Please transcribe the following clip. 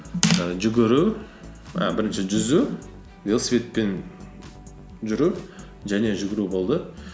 ііі жүгіру і бірінші жүзу велосипедпен жүру және жүгіру болды